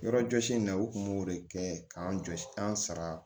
Yɔrɔjɔsi in na u kun b'o de kɛ k'an jɔ an sara